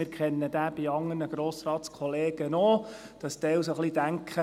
Wir kennen diesen bei anderen Grossratskollegen auch, und zwar, dass manche ein bisschen denken: